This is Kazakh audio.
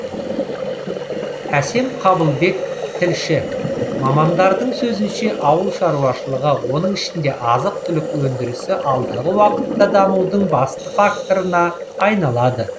әсем қабылбек тілші мамандардың сөзінше ауыл шаруашылығы оның ішінде азық түлік өндірісі алдағы уақытта дамудың басты факторына айналады